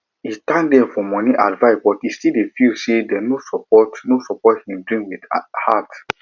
e thank dem for money advice but e still feel say dem no support no support him dream with heart